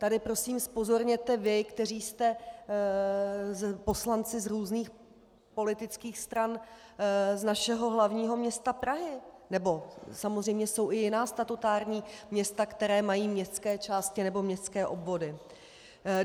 Tady prosím zpozorněte vy, kteří jste poslanci z různých politických stran z našeho hlavního města Prahy, nebo samozřejmě jsou i jiná statutární města, která mají městské části nebo městské obvody.